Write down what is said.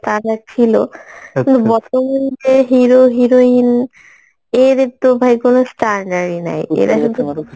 starter ছিলো বর্তমান যে hero heroin এদের তো ভাই কোনো standard ই নেই এরা শুধু